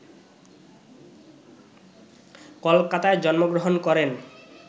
কলকাতায় জন্মগ্রহণ করেন